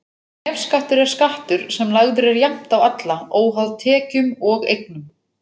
Nefskattur er skattur sem lagður er jafnt á alla, óháð tekjum og eignum.